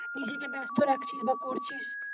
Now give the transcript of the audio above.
নিজেকে ব্যাস্ত রাখছিস বা করছিস।